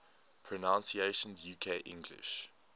pronunciations uk english